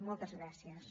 moltes gràcies